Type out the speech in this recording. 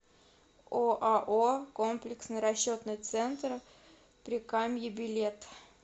оао комплексный расчетный центр прикамье билет